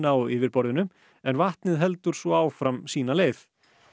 á yfirborðinu en vatnið heldur svo áfram sína leið